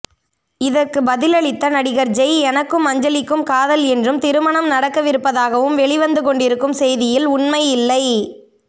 இதற்கு பதிலளித்த நடிகர் ஜெய் எனக்கும் அஞ்சலிக்கும் காதல் என்றும் திருமணம் நடக்கவிருப்பதாகவும் வெளிவந்து கொண்டிருக்கும் செய்தியில் உண்மையில்லை